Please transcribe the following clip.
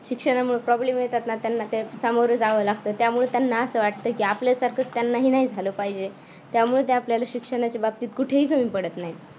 शिक्षणामुळे problem येतात ना त्यांना सामोरे जाव लागत त्यामुळ त्यांना असं वाटतं की आपल्यासारख त्यांना नाही झालं पाहिजे त्यामुळे ते आपल्याला शिक्षणाच्या बाबतीत कुठेही कमी पडत नाहीत.